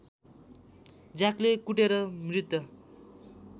ज्याकले कुटेर मृत्त